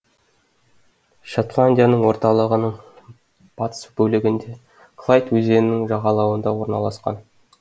шотландияның орталығының батыс бөлігінде клайд өзенінің жағалауында орналасқан